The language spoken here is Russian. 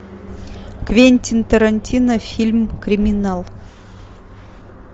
квентин тарантино фильм криминал